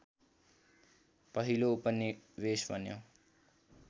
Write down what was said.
पहिलो उपनिवेश बन्यो